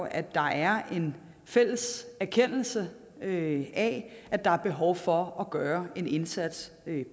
at der er en fælles erkendelse af at der er behov for at gøre en indsats